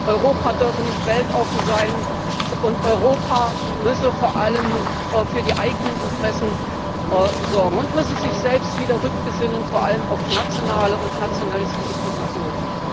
Europa dürfe nicht weltoffen sein, und Europa müsse vor allem für die eigenen Interessen sorgen und müsse sich selbst wieder rückbesinnen vor allem auf nationale und nationalistische Positionen.